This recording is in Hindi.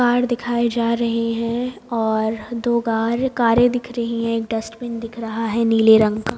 कार दिखाए जा रहे हैं और दो गार कारें दिख रही हैं एक डस्टबिन दिख रहा है नीले रंग का।